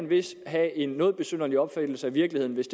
vist have en noget besynderlig opfattelse af virkeligheden hvis